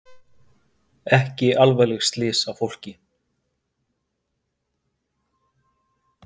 Ekki alvarleg slys á fólki